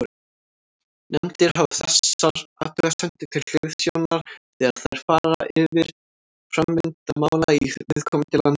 Nefndir hafa þessar athugasemdir til hliðsjónar þegar þær fara yfir framvindu mála í viðkomandi landi.